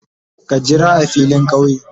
Ka yira a filin kauye?